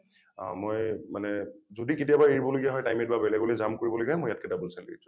অ মই মানে যদি কেতিয়াবা এৰিব লগা হয় time eight বা বেলেগলৈ jump কৰিব লগা হয় মই ইয়াতকৈ double salary ত join